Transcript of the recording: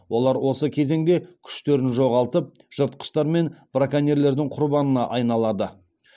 олар осы кезеңде күштерін жоғалтып жыртқыштар мен браконьерлердің құрбанына айналады